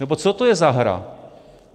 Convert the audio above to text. Nebo co to je za hru?